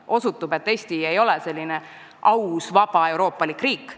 Osutub, et Eesti ei ole aus vaba euroopalik riik.